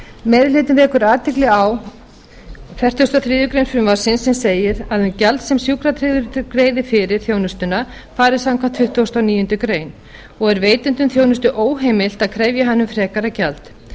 meiri hlutinn vekur athygli á fertugasta og þriðju greinar frumvarpsins sem segir að um gjald sem sjúkratryggður greiði fyrir þjónustuna fari samkvæmt tuttugustu og níundu greinar og er veitendum þjónustu óheimilt að krefja hann um frekara gjald